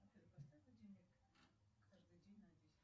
афина поставь будильник каждый день на десять